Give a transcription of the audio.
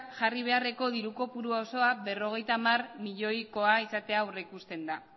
jarri beharreko diru kopuru osoa berrogeita hamar milioikoa izatea aurrikusten da